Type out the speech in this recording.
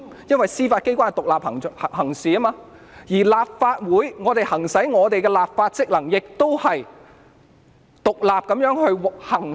因為司法機關是獨立行事的，而我們立法會議員行使的立法職能，也是獨立地行使......